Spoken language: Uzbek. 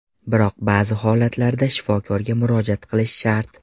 Biroq ba’zi holatlarda shifokorga murojaat qilish shart.